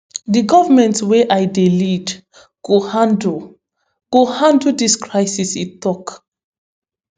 di goment wey i dey lead go handle go handle dis crisis e tok